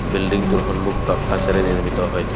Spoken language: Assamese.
বিল্ডিংটোৰ সন্মুখ ভাগ কাঁচেৰে নিৰ্মিত হয়।